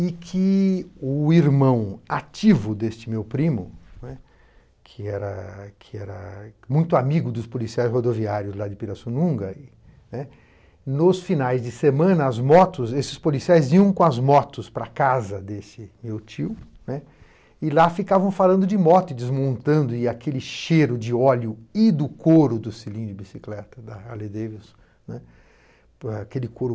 e que o irmão ativo deste meu primo, né, que era que era muito amigo dos policiais rodoviários lá de Pirassununga, né, nos finais de semana, as motos, esses policiais iam com as motos para a casa desse meu tio, né, e lá ficavam falando de moto e desmontando, e aquele cheiro de óleo e do couro do selim de bicicleta da Harley-Davidson, né, aquele couro